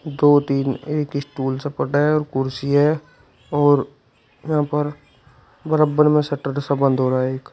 दो तीन एक स्टूल सा पड़ा है और कुर्सी है और यहां पर बराबर में शटर जैसा बंद हो रहा है एक।